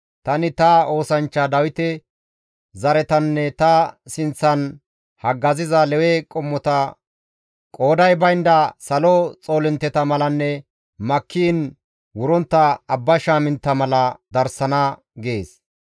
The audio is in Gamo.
Tani ta oosanchcha Dawite zaretanne ta sinththan haggaziza Lewe qommota qooday baynda salo xoolintteta malanne makkiin wurontta abba shaamintta mala darsana» gees.